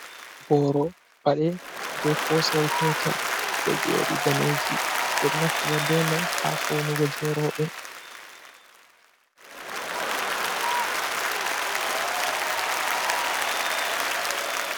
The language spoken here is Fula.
Ɓoro pade be posayel petel ɗo joɗi Daneji, ɓe ɗo naftira be mai ha faunugo je roɓe.